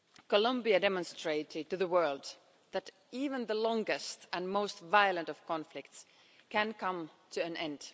Colombia demonstrated to the world that even the longest and most violent of conflicts can come to an end.